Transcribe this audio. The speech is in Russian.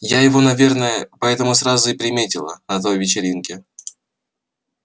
я его наверное поэтому сразу и приметила на той вечеринке